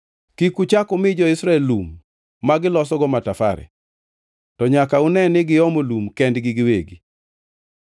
“Kik uchak umi jo-Israel lum magilosogo matafare; to nyaka une ni giomo lum kendgi giwegi.